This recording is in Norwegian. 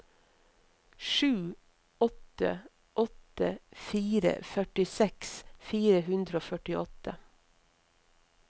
sju åtte åtte fire førtiseks fire hundre og førtiåtte